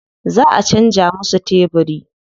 Za a canza musu tebiri.